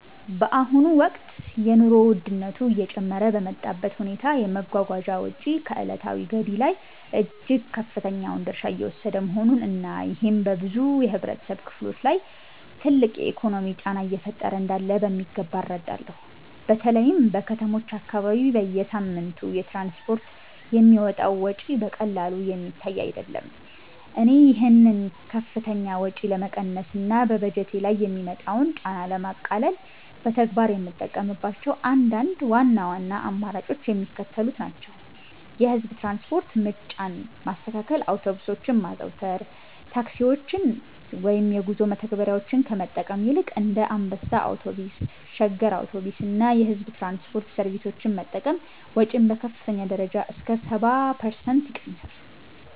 በአሁኑ ወቅት የኑሮ ውድነቱ እየጨመረ በመጣበት ሁኔታ፣ የመጓጓዣ ወጪ ከዕለታዊ ገቢ ላይ እጅግ ከፍተኛውን ድርሻ እየወሰደ መሆኑን እና ይሄም በብዙ የህብረተሰብ ክፍሎች ላይ ትልቅ የኢኮኖሚ ጫና እየፈጠረ እንዳለ በሚገባ እረዳለሁ። በተለይም በከተሞች አካባቢ በየሳምንቱ ለትራንስፖርት የሚወጣው ወጪ በቀላሉ የሚታይ አይደለም። እኔ ይህንን ከፍተኛ ወጪ ለመቀነስ እና በበጀቴ ላይ የሚመጣውን ጫና ለማቃለል በተግባር የምጠቀምባቸው አንዳንድ ዋና ዋና አማራጮች የሚከተሉት ናቸው፦ የህዝብ ትራንስፖርት ምርጫን ማስተካከል አውቶቡሶችን ማዘውተር፦ ታክሲዎችን ወይም የጉዞ መተግበሪያዎችን ከመጠቀም ይልቅ እንደ አንበሳ አውቶቡስ፣ ሸገር አውቶቡስ እና የሕዝብ ትራንስፖርት ሰርቪሶችን መጠቀም ወጪን በከፍተኛ ደረጃ እስከ 70% ይቀንሳል።